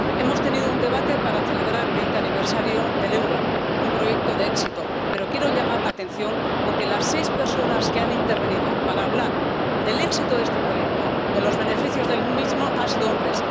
Hemos celebrado un debate para celebrar el vigésimo aniversario del euro —un proyecto de éxito—, pero quiero llamar la atención porque las seis personas que han intervenido para hablar del éxito de este proyecto, de los beneficios del mismo, han sido hombres.